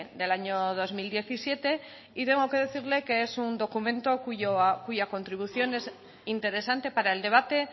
del año dos mil diecisiete y tengo que decirle que es un documento cuya contribución es interesante para el debate